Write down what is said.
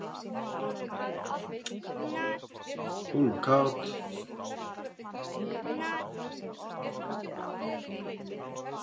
Hún var kát.